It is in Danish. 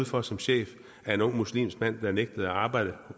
for som chef af en ung muslimsk mand der nægtede at arbejde